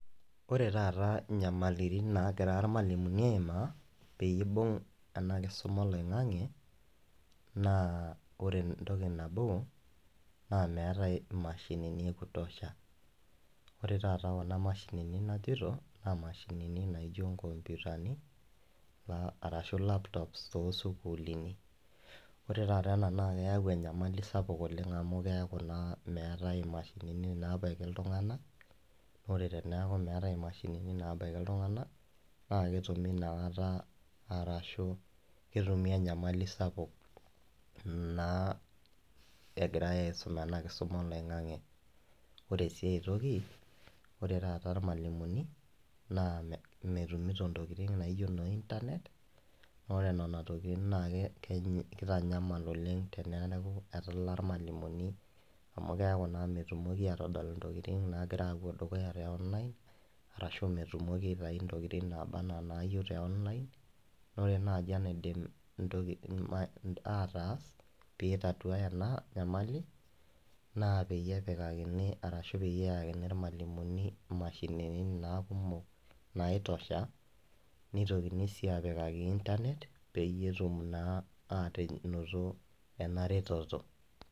Oree taata inyamalitin naagira irmalimuni aimaa peyiee eibung' ena kisuma oloing'ang'e naa oree entoki naboo naa meeta imashinini ee kutosha oree taata kuna mashinini najito naa imashinini najo inn computer utani arashuu laptops too sukuulini ore taata ena naa keyau enyamali sapuk oleng' amuu keeku naa meetae imashinini naabaiki iltung'anak ore teneyaku meetae imashinini naabaiki iltung'anak naa ketumi naataa arashu ketumi enyamali sapuk naa egirae aisum ena kisuma oloing'ang'e oree sii aitoki oree taata irmalimuni naa metumito intokiting' naiko naa internet oree nena tokiting' naa keeitanyamal oleng' teneaku etalaa irmalimuni amuu keaku naa metumoki aatodol intokiting' naagira aapuo dukuya tee online arashu metumoki aitayu intokiting' tee online ore intokiting' naidim atas peitaduaya ena nyamali naa peyie epikakini arashu peyiee eyakini irmaliumuni imashinini naa kumok nai tosha neitokini sii aapikaki internet peyee etum naa adupore ena retoto